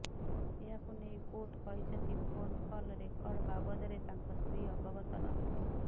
ଏହାକୁ ନେଇ କୋର୍ଟ କହିଛନ୍ତି ଫୋନ୍ କଲ୍ ରେକର୍ଡ ବାବଦରେ ତାଙ୍କ ସ୍ତ୍ରୀ ଅବଗତ ନଥିଲେ